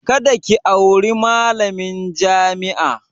Kada ki auri malamin jami'a!